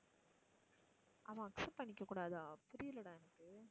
அவன் accept பண்ணிக்க கூடாதா? புரியலடா எனக்கு.